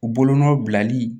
U bolonɔ bilali